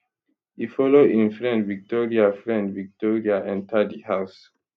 e follow im friend victoria friend victoria enta di house